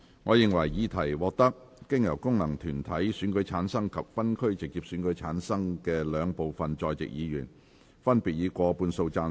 我認為議題獲得經由功能團體選舉產生及分區直接選舉產生的兩部分在席議員，分別以過半數贊成。